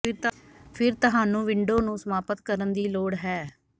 ਫਿਰ ਤੁਹਾਨੂੰ ਵਿੰਡੋ ਨੂੰ ਸਮਾਪਤ ਕਰਨ ਦੀ ਲੋੜ ਹੈ